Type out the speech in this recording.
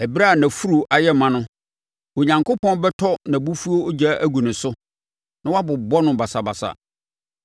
Ɛberɛ a nʼafuru ayɛ ma no, Onyankopɔn bɛtɔ nʼabufuo ogya agu ne so na wabobɔ no basabasa.